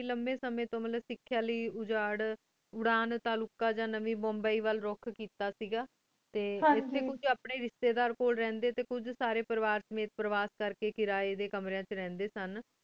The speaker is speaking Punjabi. ਲੰਬੀ ਸੰਯੰ ਤੂੰ ਮਤਲਬ ਸਿਖ੍ਯਾਂ ਲੈ ਉਜਾਰ ਉੜਾਨ ਟੀ ਰੁਖਿਯਾ ਜੰਦਾ ਟੀ ਮੁਬਾਈ ਵਾਇਲ ਰੁਖ ਕੀਤਾ ਸੇ ਗਾ ਟੀ ਏਥੀ ਹੁਣ ਅਪਨੀ ਰ੍ਸ਼੍ਟੀ ਦਰ ਕੋਲ ਰਨ ਡੀ ਟੀ ਕੁਜ ਸਾਰੀ ਪਰਵ ਸਮਿਤ ਟੀ ਕੁਛ ਪੇਰ੍ਵੇਸ਼ਟ ਕਰ ਕੀ ਕਰੇ ਡੀ ਕਾਮ੍ਰ੍ਯਾਂ ਡੀ ਵੇਚ ਰੰਡੀ